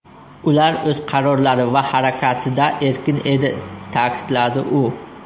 Ular o‘z qarorlari va harakatida erkin edi”, ta’kidladi u.